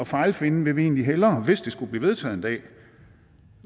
fejlfinding vil vi egentlig hellere hvis det skulle blive vedtaget en dag